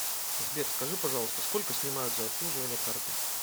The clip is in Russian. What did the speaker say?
сбер скажи пожалуйста сколько снимают за обслуживание карты